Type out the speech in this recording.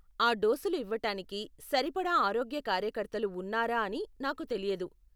ఆ డోసులు ఇవ్వటానికి సరిపడా ఆరోగ్య కార్యకర్తలు ఉన్నారా అని నాకు తెలియదు.